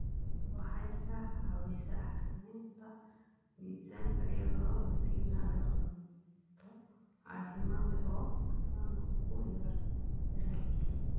Waxay ka caawisaa xakamaynta miisaanka iyadoo la siinayo cunto caafimaad leh oo dufanku ku yar yahay.